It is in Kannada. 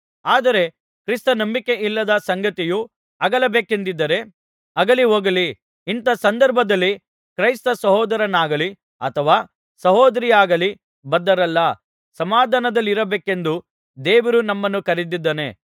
ಆದರೆ ಕ್ರಿಸ್ತ ನಂಬಿಕೆಯಿಲ್ಲದ ಸಂಗಾತಿಯು ಅಗಲಬೇಕೆಂದಿದ್ದರೆ ಅಗಲಿಹೋಗಲಿ ಇಂಥಾ ಸಂದರ್ಭಗಳಲ್ಲಿ ಕ್ರೈಸ್ತ ಸಹೋದರನಾಗಲಿ ಅಥವಾ ಸಹೋದರಿಯಾಗಲಿ ಬದ್ಧರಲ್ಲ ಸಮಾಧಾನದಲ್ಲಿರಬೇಕೆಂದು ದೇವರು ನಮ್ಮನ್ನು ಕರೆದಿದ್ದಾನೆ